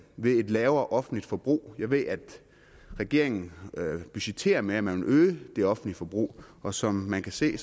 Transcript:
ved et lavere offentligt forbrug jeg ved at regeringen budgetterer med at man vil øge det offentlige forbrug og som man kan se